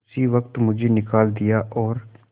उसी वक्त मुझे निकाल दिया और